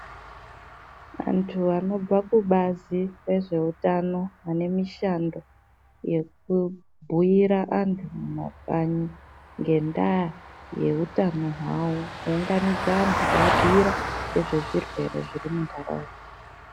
Vantu vanobva kubazi rezveutano vane mishando yekubhuira antu mumakanyi ngendaa yeutano hwawo kuunganidze antu kuaabhiira ngezve zvirwere zviri munhaunda.